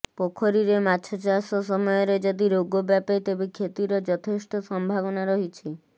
ପୋଖରୀରେ ମାଛ ଚାଷ ସମୟରେ ଯଦି ରୋଗ ବ୍ୟାପେ ତେବେ କ୍ଷତିର ଯଥେଷ୍ଟ ସମ୍ଭାବନା ରହିଛି